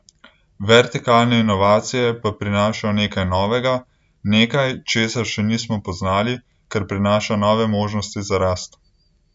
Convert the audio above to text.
Vertikalne inovacije pa prinašajo nekaj novega, nekaj, česar še nismo poznali, kar prinaša nove možnosti za rast.